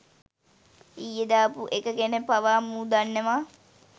ඊයේ දාපු එක ගැන පවා මූ දන්නවා.